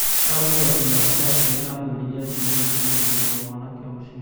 araumbũrire atĩ mũrata wake amwĩrire atĩ nĩaronire mũgũri wa mwanake ũcio